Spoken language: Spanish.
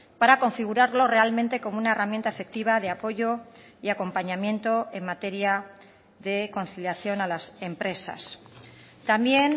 para configurarlo realmente como una herramienta efectiva de apoyo y acompañamiento en materia de conciliación a las empresas también